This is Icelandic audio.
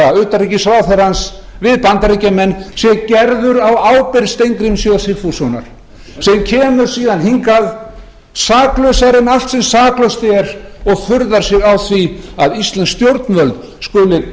íslenska utanríkisráðherrans við bandaríkjamenn sé gerður á ábyrgð steingríms j sigfússonar sem kemur síðan hingað saklausari en allt sem saklaust er og furðar sig á því að íslensk stjórnvöld skuli